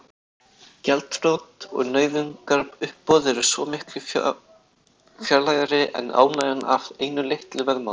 Gjaldþrot og nauðungaruppboð eru svo miklu fjarlægari en ánægjan af einu litlu veðmáli.